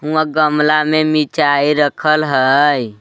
हुंआ गमला मे मिर्चाय रखल हई।